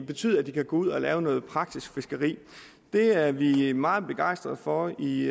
betyder at de kan gå ud og lave noget praktisk fiskeri det er vi meget begejstrede for i